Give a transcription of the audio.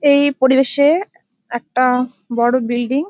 এই পরিবেশে একটা বড় বিল্ডিং ।